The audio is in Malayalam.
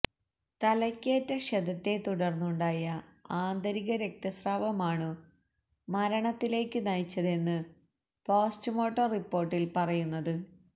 തലയ്ക്കേറ്റ ക്ഷതത്തെത്തുടര്ന്നുണ്ടായ ആന്തരീക രക്തസ്രാവമാണു മരണത്തിലേക്കു നയിച്ചതെന്നു പോസ്റ്റ്മോര്ട്ടം റിപ്പോര്ട്ടില് പറയുന്നത്